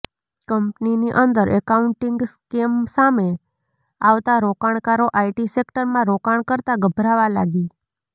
કંપનીની અંદર accounting scam સામે આવતા રોકાણકારો આઈટી સેક્ટરમાં રોકાણ કરતા ગભરાવા લાગી